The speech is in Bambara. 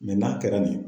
n'a kɛra nin ye